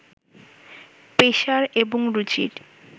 পেশার এবং রুচির